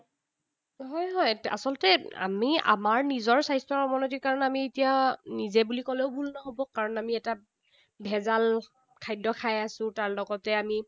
হয়, হয়, আচলতে আমি আমাৰ নিজৰ স্বাস্থ্যৰ অৱনতিৰ কাৰণে আমি এতিয়া নিজে বুলি কলেও ভুল নহব। কাৰণ আমি এটা ভেজাল খাদ্য খাই আছো। তাৰ লগতে আমি